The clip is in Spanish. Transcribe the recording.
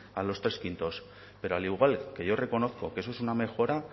a los tres quintos pero al igual que yo reconozco que eso es una mejora